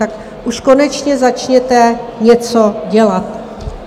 Tak už konečně začněte něco dělat.